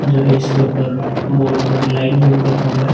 जो है इसके ऊपर बोर्ड बनने लाइट बोर्ड बना हुआ हैं।